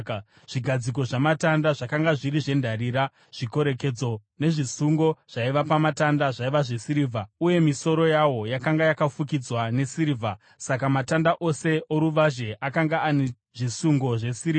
Zvigadziko zvamatanda zvakanga zviri zvendarira. Zvikorekedzo nezvisungo zvaiva pamatanda zvaiva zvesirivha, uye misoro yawo yakanga yakafukidzwa nesirivha; saka matanda ose oruvazhe akanga ane zvisungo zvesirivha.